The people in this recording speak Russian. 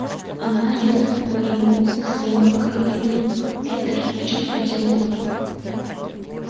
она резко повернулась к своему коллеге питер в чем тут дело